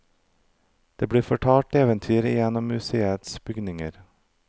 Det blir fortalt eventyr i en av museets bygninger.